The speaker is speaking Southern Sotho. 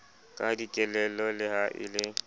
ka dikelello le ha e